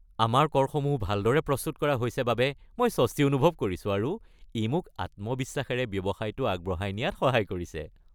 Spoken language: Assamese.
আমাৰ কৰসমূহ ভালদৰে প্ৰস্তুত কৰা হৈছে বাবে মই স্বস্তি অনুভৱ কৰিছোঁ আৰু ই মোক আত্মবিশ্বাসেৰে ব্যৱসায়টো আগবঢ়াই নিয়াত সহায় কৰিছে।